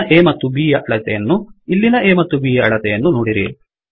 ಇಲ್ಲಿನ A ಮತ್ತು B ಯ ಅಳತೆಯನ್ನೂ ಇಲ್ಲಿನ A ಮತ್ತು B ಯ ಅಳತೆಯನ್ನೂ ನೋಡಿರಿ